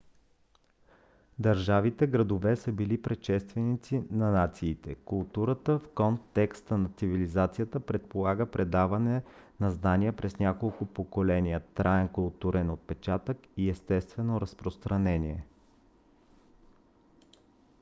държавите-градове са били предшественици на нациите. културата в контекста на цивилизацията предполага предаване на знания през няколко поколения траен културен отпечатък и естествено разпространение